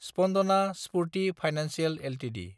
Spandana Sphoorty financial Ltd